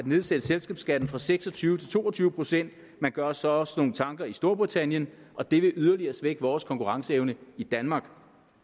nedsætte selskabsskatten fra seks og tyve til to og tyve procent man gør sig også nogle tanker i storbritannien og det vil yderligere svække vores konkurrenceevne i danmark